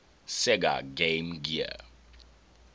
sega game gear